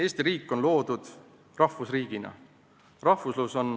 Eesti riik on loodud rahvusriigina.